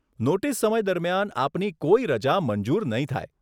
Notice સમય દરમિયાન આપની કોઈ રજા મંજૂર નહીં થાય.